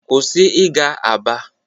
kwụsị ịga aba!